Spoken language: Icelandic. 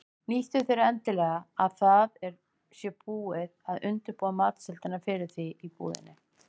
Nýttu þér endilega að það sé búið að undirbúa matseldina fyrir þig í búðinni.